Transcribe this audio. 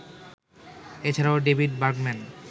এছাড়াও David Bergman